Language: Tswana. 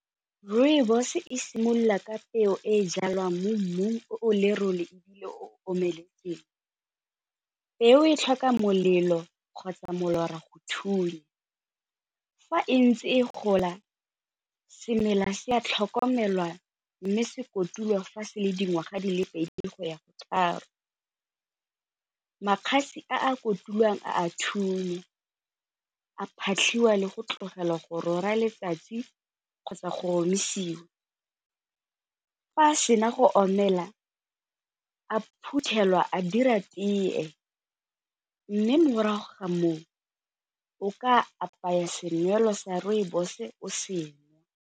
Rooibos e simolola ka peo e e jalwang mo mmung o o lerole ebile o omeletseng, peo e tlhoka molelo kgotsa molora go thunya fa e ntse e gola semela se a tlhokomelwa mme se kotulwa fa se le dingwaga di le pedi go ya go tharo, a a kotulwang a a thunya, a phatlhiwa le go tlogelwa go letsatsi kgotsa go omisiwa, fa a sena go omela a phuthelwa a dira tee mme morago ga moo o ka apaya selwa sa rooibos o se nwa.